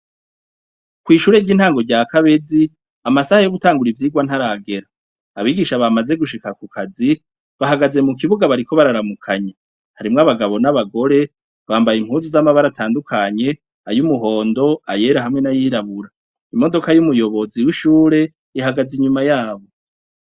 Kw'ishure ry'intango rya kabezi amasaha yo gutangura ivyirwa ntaragera abigisha bamaze gushika ku kazi bahagaze mu kibuga bariko bararamukanye harimwo abagabo n'abagore bambaye impuzu z'amabara atandukanye ayo umuhondo ayera hamwe n'ayirabura imodoka y'umuyobozi wishure ihagaze inyuma yabo.